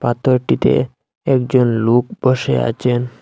পাথরটিতে একজন লোক বসে আছেন।